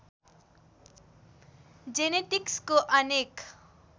जेनेटिक्सको अनेक